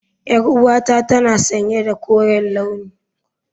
Yar'uwata tana sanye da koren launi.